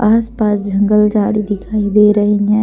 आस पास जंगल झाड़ी दिखाई दे रही है।